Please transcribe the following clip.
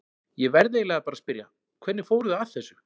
Ég verð eiginlega bara að spyrja, hvernig fóruð þið að þessu?